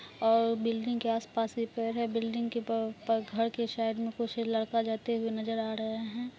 और बिल्डिंग के आस पास भी पेड़ हैं बिल्डिंग के घर के साइड में कुछ लड़का जाते हुए नजर आ रहा हैं।